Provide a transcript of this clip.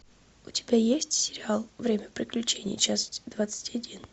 у тебя есть сериал время приключений часть двадцать один